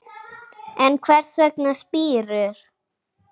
En hvers vegna spírur?